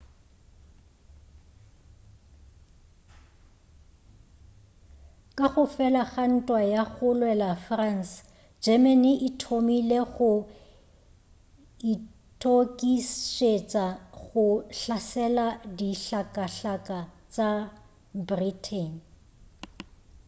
ka go fela ga ntwa ya go lwela france germany e thomile go eithokišetša go hlasela dihlakahlaka tša britain